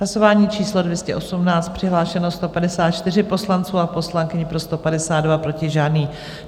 Hlasování číslo 218, přihlášeno 154 poslanců a poslankyň, pro 152, proti žádný.